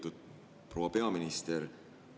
Lugupeetud proua peaminister!